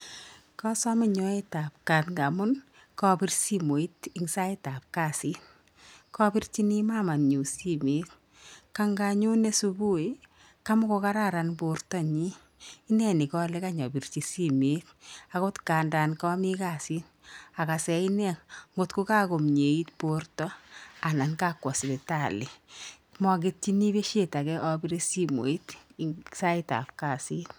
Kasame nyoetab kat ngamun kapir simoit eng sait ab kasit. Kapirchini mamanyun simeet, kanganyone subui kamagogaran bortonyin. Ineni kale inapirchi simet agot kandan kami kasit agasen inne ngotko kagomieit borto anan kakwo sipitali. Magetyini besio apire simoit eng saitab kasit.